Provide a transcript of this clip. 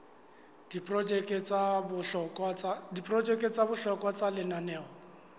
diprojeke tsa bohlokwa tsa lenaneo